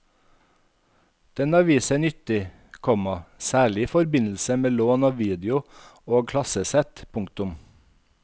Den har vist seg nyttig, komma særlig i forbindelse med lån av video og klassesett. punktum